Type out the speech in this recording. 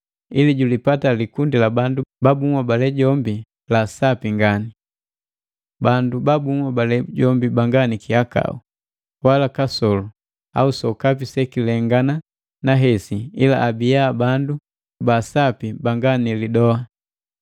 ili julipatila likundi la bandu ba bunhobale jombi la sapi ngani, bandu ba bunhobale jombi banga ni kihakau, na kasolu au sokapi sekilengana na hesi ila abia bandu baasapi banga ni lidoa.